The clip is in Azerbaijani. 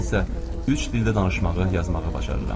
Mən isə üç dildə danışmağı, yazmağı bacarıram.